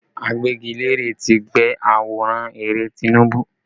Agbẹ́gilére tí gbẹ́ àwòrán Ààrẹ Tinubu